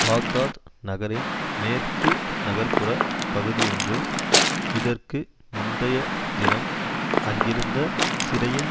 Baghdad நகரின் மேற்கு நகர்புறப் பகுதியொன்றில் இதற்கு முந்தைய தினம் அங்கிருந்த சிறையின்